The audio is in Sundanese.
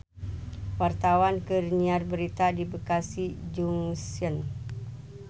Wartawan keur nyiar berita di Bekasi Junction